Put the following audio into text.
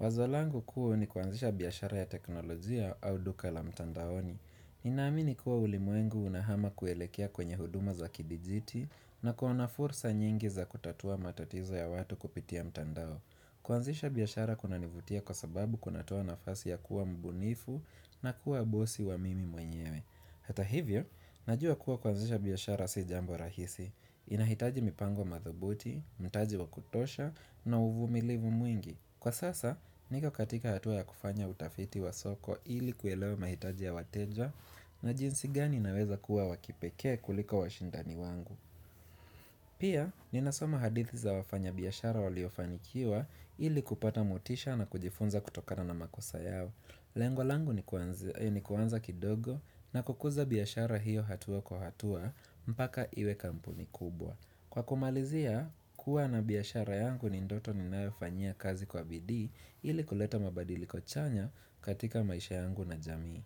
Wazo langu kuu ni kuanzisha biashara ya teknolojia au duka la mtandaoni. Ninaamini kuwa ulimwengu unahama kuelekea kwenye huduma za kidijiti na kuona fursa nyingi za kutatua matatizo ya watu kupitia mtandao. Kuanzisha biashara kunanivutia kwa sababu kuna toa nafasi ya kuwa mbunifu na kuwa bosi wa mimi mwenyewe Hata hivyo, najua kuwa kuanzisha biashara si jambo rahisi inahitaji mipango madhubuti, mtaji wakutosha na uvumilivu mwingi Kwa sasa, niko katika hatua ya kufanya utafiti wa soko ili kuelewa mahitaji ya wateja na jinsi gani naweza kuwa wakipekee kuliko washindani wangu Pia, ninasoma hadithi za wafanya biashara waliofanikiwa ili kupata motisha na kujifunza kutokana na makosa yao. Lengo langu ni kua kuanza kidogo na kukuza biashara hiyo hatua kwa hatua mpaka iwe kampuni kubwa. Kwa kumalizia, kuwa na biashara yangu ni ndoto ninayofanyia kazi wa bidii ili kuleta mabadiliki chanya katika maisha yangu na jamii.